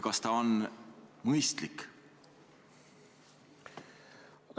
Kas see on mõistlik?